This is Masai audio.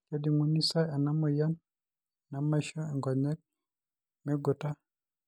kejunguni sa ena moyian nameisho inkonyek meing'uta?